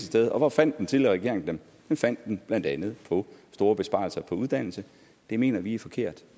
sted og hvor fandt den tidligere regering dem de fandt dem blandt andet på store besparelser på uddannelse og det mener vi er forkert